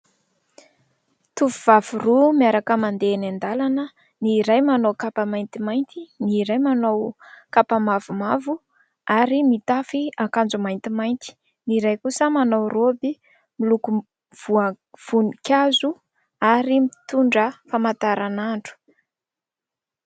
Tovovavy roa miaraka mandeha eny an-dalana. Ny iray manao kapa maintimainty, ny iray manao kapa mavomavo ary mitafy akanjo maintimainty. Ny iray kosa manao roby miloko vonivoninkazo ary mitondra famantaranandro.